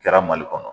Kɛra mali kɔnɔ